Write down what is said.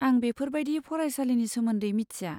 आं बेफोर बायदि फरायसालिनि सोमोन्दै मिथिया।